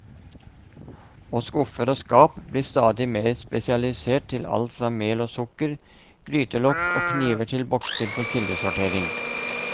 Og skuffer og skap blir stadig mer spesialisert til alt fra mel og sukker, grytelokk og kniver til bokser for kildesortering.